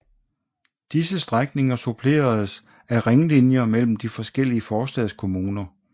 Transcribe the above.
Disse strækninger suppleredes af ringlinjer mellem de forskellige forstadskommuner